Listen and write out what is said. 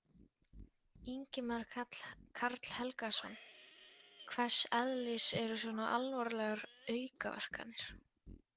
Ingimar Karl Helgason: Hvers eðlis eru svona alvarlegar aukaverkanir?